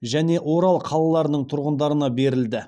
және орал қалаларының тұрғындарына берілді